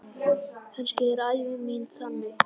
Kannski er ævi mín þannig.